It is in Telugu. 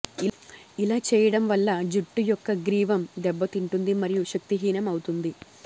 ఇలా చేయడం వల్ల జుట్టు యొక్క గ్రీవం దెబ్బ తింటుంది మరియు శక్తిహీనం అవుతుంది